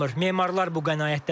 Memarlar bu qənaətdədirlər.